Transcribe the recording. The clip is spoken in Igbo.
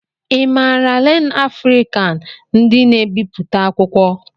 I maara LearnAfrican ndị n'ebipụta akwụkwọ?